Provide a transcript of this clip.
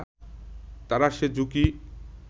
তারা সে ঝুঁকি